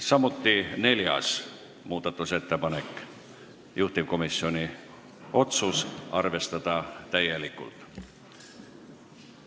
Samuti neljas muudatusettepanek, juhtivkomisjon otsus on arvestada täielikult.